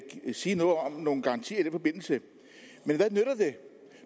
sige noget om nogle garantier i den forbindelse men